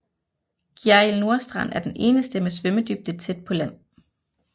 Gjerrild Nordstrand er den eneste med svømmedybde tæt på land